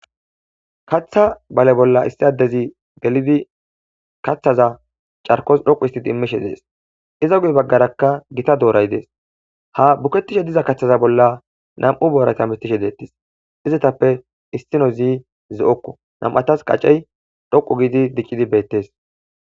Katha bale bolla issi addezi galidi kaththaza carkos dhoqu istid immishe dees iza gude baggarakka gita dooray dees ha buketishe diza kaththaza bolla nam'u boorayta mittishe deettes izetappe issino zi zeokko nam'atas qacey dhoqu giidi diqqidi beettes.